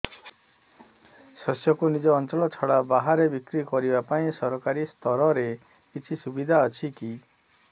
ଶସ୍ୟକୁ ନିଜ ଅଞ୍ଚଳ ଛଡା ବାହାରେ ବିକ୍ରି କରିବା ପାଇଁ ସରକାରୀ ସ୍ତରରେ କିଛି ସୁବିଧା ଅଛି କି